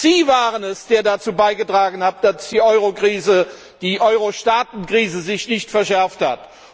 Sie waren es, der dazu beigetragen hat, dass die Eurokrise, die Eurostaaten Krise sich nicht verschärft hat.